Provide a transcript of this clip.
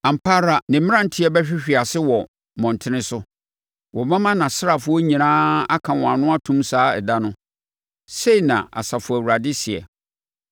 Ampa ara ne mmeranteɛ bɛhwehwe ase wɔ mmɔntene so; wɔbɛma nʼasraafoɔ nyinaa aka wɔn ano atom saa ɛda no,” sɛi na Asafo Awurade seɛ.